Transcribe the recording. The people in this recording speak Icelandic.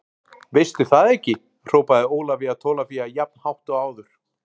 Veistu það ekki hrópaði Ólafía Tólafía jafn hátt og áður.